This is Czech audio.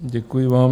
Děkuji vám.